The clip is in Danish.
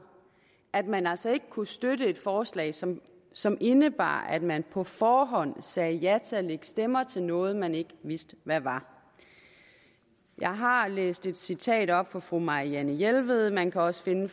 at man altså ikke kunne støtte et forslag som som indebar at man på forhånd sagde ja til at lægge stemmer til noget man ikke vidste hvad var jeg har læst et citat op fra fru marianne jelved man kan også finde